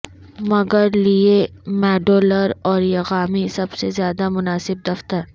مگر لئے modular origami سب سے زیادہ مناسب دفتر